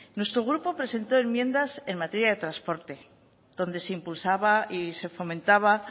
nuestro grupo presentó enmiendas en materia de transporte donde se impulsaba y se fomentaba